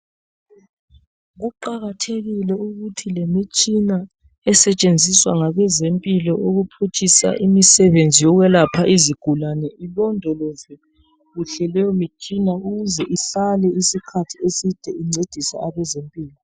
Kuqakathekile ukuthi lemitshina esetshenziswa ngabezempilo ukuphutshisa imisebenzi yokwelapha izigulane ilondolozwe kuhle leyo mitshina ukuze ihlale isikhathi eside incedisa abezempilo.